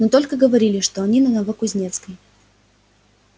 но только говорили что они на новокузнецкой